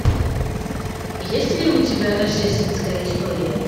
есть ли у тебя рождественская история